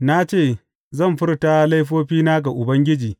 Na ce, Zan furta laifofina ga Ubangiji.